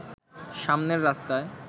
সামনের রাস্তায়